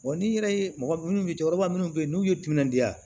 n'i yɛrɛ ye mɔgɔ minnu mi cɛkɔrɔba munnu bɛ yen n'u ye timinandiya